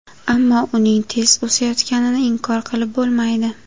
Ammo uning tez o‘sayotganini inkor qilib bo‘lmaydi.